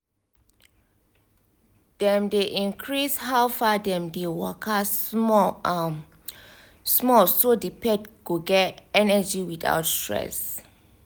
dem dey increase how far dem dey waka small um small so the pet go get energy without stress